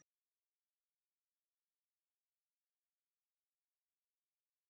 Við ræddum við Ásgeir og byrjuðum á að spyrja hvort þessi spá kæmi á óvart?